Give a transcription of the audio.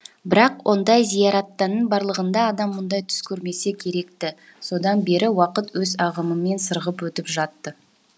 бірақ ондай зияраттың барлығында адам мұндай түс көрмесе керек ті содан бері уақыт өз ағымымен сырғып өтіп жатты